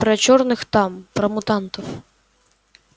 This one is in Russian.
про чёрных там про мутантов